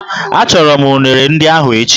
Achọrọ m unere ndị ahụ echi